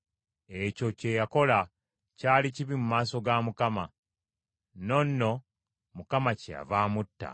Ekyo kye yakola kyali kibi mu maaso ga Mukama . N’ono Mukama kyeyava amutta.